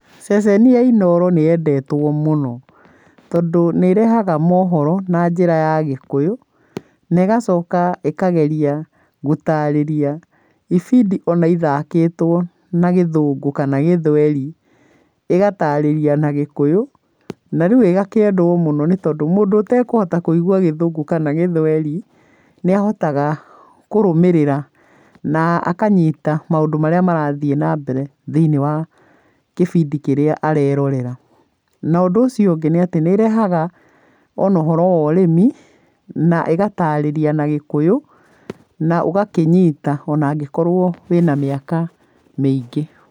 Ceceni ya Inooro níĩyendetwo mũno tondũ nĩ ĩrehaga mohoro na njĩra ya Gĩkũyũ, na ĩgacoka ĩkageria gũtarĩria ibindi ona ithakĩtwo na Gĩthũngũ kana Gĩthweri, ĩgatarĩria na Gĩkũyũ, na rĩu ĩgakĩendwo mũno nĩ tondũ mũndũ ũtekũhota kũigua Gĩthũngũ kana Gĩthweri nĩ ahotaga kũrũmĩrĩra na akanyita maũndũ marĩa marathiĩ na mbere thĩiniĩ wa kĩbĩndi kĩrĩa arerorera. Na ũndũ ũcio ũngĩ nĩ atĩ nĩ ĩrehaga ona ũhoro wa ũrĩmĩ na ĩgatarĩria na gĩkũyũ na ũgakĩnyita, ona angĩkorwo wĩna mĩaka mĩingĩ.